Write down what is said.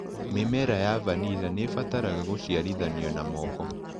Mĩmera ya vanila nĩibataraga gũciarithanio na moko.